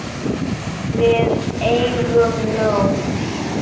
Við eigum nóg.